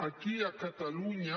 aquí a catalunya